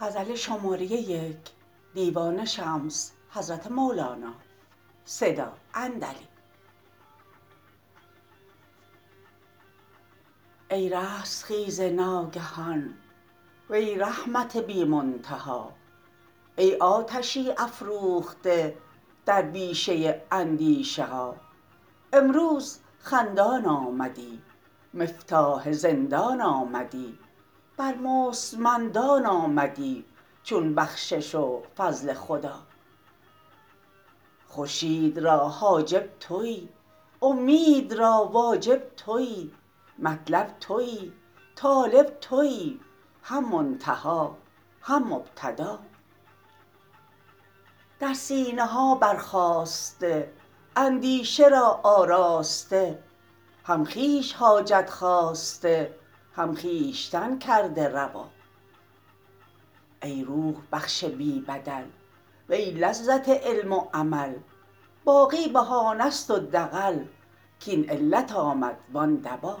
ای رستخیز ناگهان وی رحمت بی منتها ای آتشی افروخته در بیشه اندیشه ها امروز خندان آمدی مفتاح زندان آمدی بر مستمندان آمدی چون بخشش و فضل خدا خورشید را حاجب تویی اومید را واجب تویی مطلب تویی طالب تویی هم منتها هم مبتدا در سینه ها برخاسته اندیشه را آراسته هم خویش حاجت خواسته هم خویشتن کرده روا ای روح بخش بی بدل وی لذت علم و عمل باقی بهانه ست و دغل کاین علت آمد وان دوا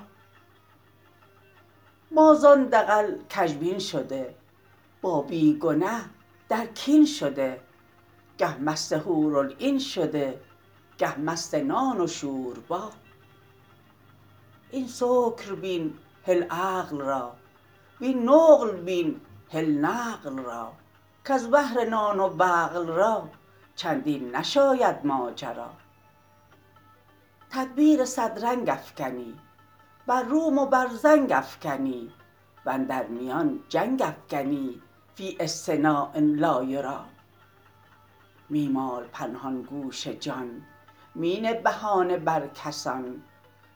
ما زان دغل کژبین شده با بی گنه در کین شده گه مست حورالعین شده گه مست نان و شوربا این سکر بین هل عقل را وین نقل بین هل نقل را کز بهر نان و بقل را چندین نشاید ماجرا تدبیر صد رنگ افکنی بر روم و بر زنگ افکنی و اندر میان جنگ افکنی فی اصطناع لا یری می مال پنهان گوش جان می نه بهانه بر کسان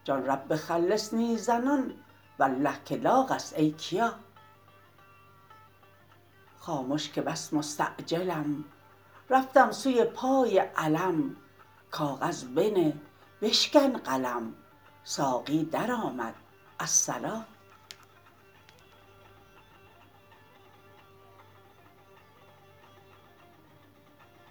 جان رب خلصنی زنان والله که لاغ است ای کیا خامش که بس مستعجلم رفتم سوی پای علم کاغذ بنه بشکن قلم ساقی درآمد الصلا